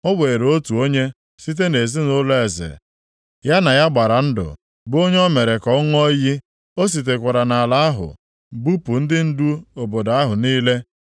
O were otu onye site nʼezinaụlọ eze, ya na ya gbara ndụ, bụ onye o mere ka ọ ṅụọ iyi. O sitekwara nʼala ahụ bupụ ndị ndu obodo ahụ niile.